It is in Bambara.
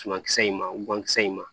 Sumakisɛ in ma gankisɛ in ma